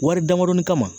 Wari damadɔni kama